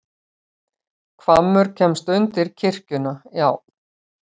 Hvammur kemst undir kirkjuna, já.